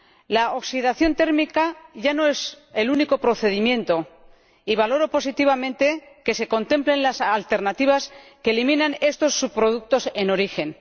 La oxidación térmica ya no es el único procedimiento y valoro positivamente que se contemplen las alternativas que eliminan estos subproductos en origen.